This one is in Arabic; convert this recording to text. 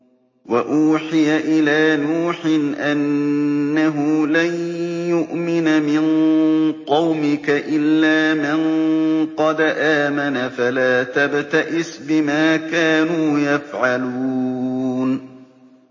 وَأُوحِيَ إِلَىٰ نُوحٍ أَنَّهُ لَن يُؤْمِنَ مِن قَوْمِكَ إِلَّا مَن قَدْ آمَنَ فَلَا تَبْتَئِسْ بِمَا كَانُوا يَفْعَلُونَ